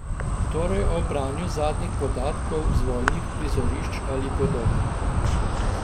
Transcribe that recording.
Torej ob branju zadnjih podatkov z vojnih prizorišč ali podobno.